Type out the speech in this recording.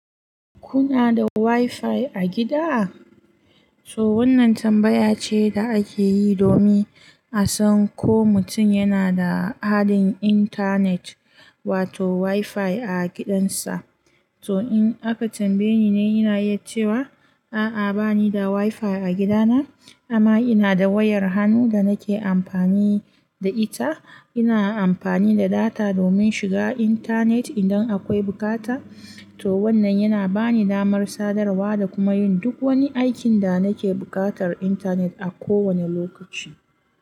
Kuna da WiFi a gida? To wannan tambaya ce da ake yi domin a san ko mutum yana da haɗin intanet wato wifi a gidansa. To in aka tambaye ni ne iya ce wa, a'a bani da WiFi a gidana amma ina da wayar hannu da nake amfani da ita. Ina amfani da data domin shiga intanet idan akwai bukata. To wannan yana bani damar sadarwa da kuma yin duk wani aikin da nake buƙatar intanet a kowane lokaci.